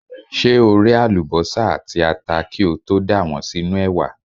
Ṣé o ré àlùbọ́sà àti ata kí o tó dà wọ́n sínú ẹ̀wà?